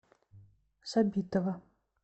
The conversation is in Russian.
сабитова